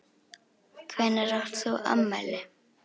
Hvenær átt þú afmæli?